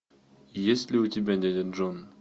есть ли у тебя дядя джон